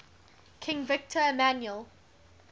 king victor emmanuel